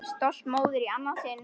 Stolt móðir í annað sinn.